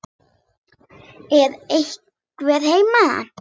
Er einhver heima?